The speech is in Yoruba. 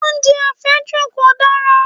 Oúnjẹ àfẹ́jù kò dára